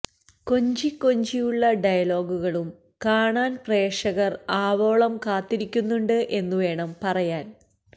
കൊഞ്ചി കൊഞ്ചിയുള്ള ഡയലോഗുകളും കാണാന് പ്രേക്ഷകര് ആവോളം കാത്തിരിക്കുന്നുണ്ട് എന്നു വേണം പറയാന്